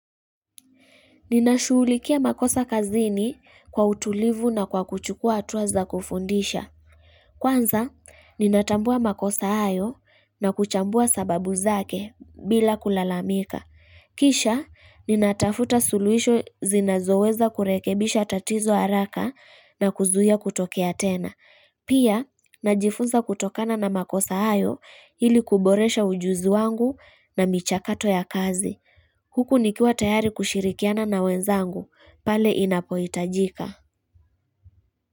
Ninashughulikia makosa kazini kwa utulivu na kwa kuchukua hatua za kufundisha. Kwanza, ninatambua makosa hayo na kuchambua sababu zake bila kulalamika. Kisha, ninatafuta suluisho zinazoweza kurekebisha tatizo haraka na kuzuia kutokea tena. Pia, najifunza kutokana na makosa hayo ili kuboresha ujuzi wangu na michakato ya kazi. Huku ni kiwa tayari kushirikiana na wenzangu pale inapohitajika.